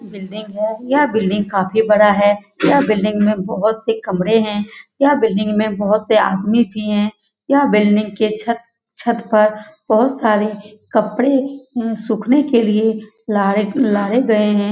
Building है यह building काफी बड़ा है यह बिल्डिंग में बहुत से कमरे हैं यह बिल्डिंग में बहुत से आदमी भी हैं बिल्डिंग के छत छत पर बहुत सारे कपडे सूखने के लिए डाले गए हैं ।